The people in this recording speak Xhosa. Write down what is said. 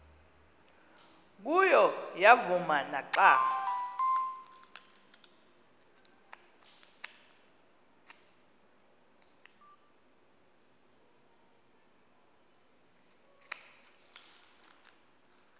kuyo yavuma naxa